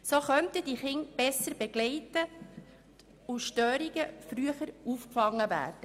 So könnten diese Kinder besser begleitet und Störungen früher aufgefangen werden.